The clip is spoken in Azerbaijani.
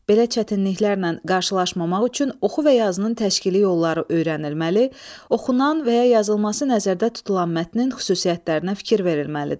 Belə çətinliklərlə qarşılaşmamaq üçün oxu və yazının təşkili yolları öyrənilməli, oxunan və ya yazılması nəzərdə tutulan mətnin xüsusiyyətlərinə fikir verilməlidir.